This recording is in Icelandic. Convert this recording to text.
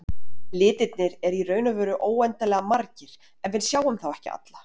Litirnir eru í raun og veru óendanlega margir en við sjáum þá ekki alla.